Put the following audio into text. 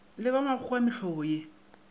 le ba makgowa mehlobo ye